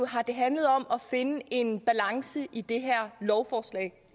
har det handlet om at finde en balance i det her lovforslag